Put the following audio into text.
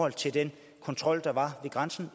at den kontrol der var ved grænsen